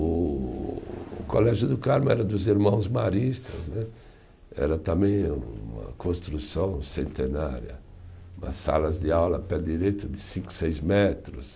O o Colégio do Carmo era dos irmãos Maristas né, era também uma construção centenária, umas salas de aula a pé direito de cinco, seis metros.